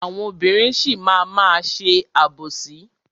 Àwọn obìnrin sì máa má ṣe àbòsí.